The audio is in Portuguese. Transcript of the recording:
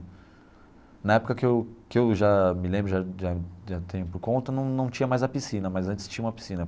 Na época que eu que eu já me lembro, já já já tenho por conta, não não tinha mais a piscina, mas antes tinha uma piscina.